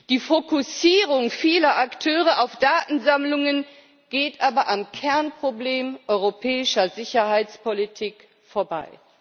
Die Fokussierung vieler Akteure auf Datensammlungen geht aber am Kernproblem europäischer Sicherheitspolitik vorbei.